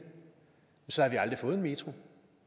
så havde vi aldrig fået en metro